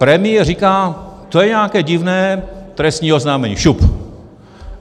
Premiér říká: To je nějaké divné, trestní oznámení, šup.